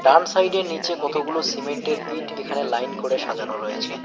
বাম সাইডের নিচে কতগুলো সিমেন্টের ইট এখানে লাইন করে সাজানো রয়েছে।